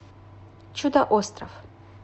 чудо остров